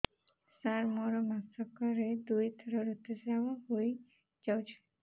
ସାର ମୋର ମାସକରେ ଦୁଇଥର ଋତୁସ୍ରାବ ହୋଇଯାଉଛି